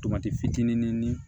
Tomati fitinin ni